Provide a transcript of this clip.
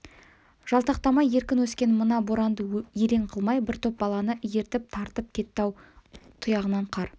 жалтақтамай еркін өскен мына боранды елең қылмай бір топ баланы ертіп тартып кетті ат тұяғынан қар